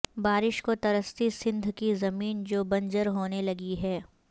بارش کو ترستی سندھ کی زمین جو بنجر ہونے لگی ہے